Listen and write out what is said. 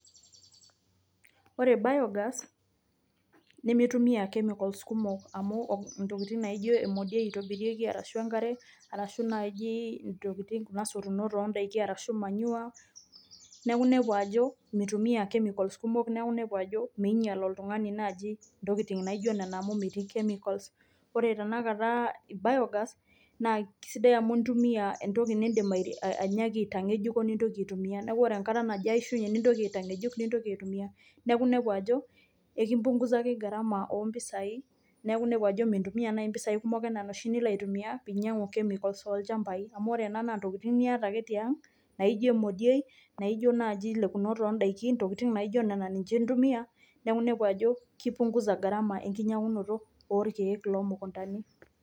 Kore biogas nemeitumia chemicals kumok amu ntokitin naijo emodiei eitobirieki arashu nkare, arashu najii kuna surunoot e ndaaki arashu manure neeku neikoo ajo meitumia chemicals kumok neeku neikoo meinyaal oltung'ani najii ntoki naijo nenia amu meeti chemicals. Ore tana kaata biogas naa kesidai amu idiim niitumia ntokii indim ainyaaki te yeejuko niitokii aitumia. Naa kore enkaata nijoo aishunye nintoki aiteyeejuk nintokii aitumia. Neeku neiko ajo ekipungusaki garamaa empisai neeku neiko ajoo meintumii ena mpisai kumook enia ninchee niloo aitumia pii enyauu chemicals lo lchambai amu ore ena naa ntokitin ake nieta te ang' naijoo moodoi, naijoo naiji leekunoot e ndaakin, ntokitin naijo aa ninyee nitumia. Neeku nepoo ajo nkipungusa garamaa le kinyanutoo lo lkiek lo mkundani.